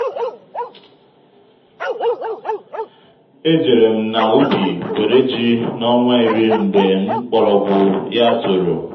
é jèrè m nà úbì wèrè jí na ọnwa ìrí mgbe ḿkpọ́rọ́gwụ́ yà tóòrò